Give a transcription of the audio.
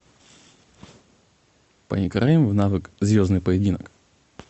поиграем в навык звездный поединок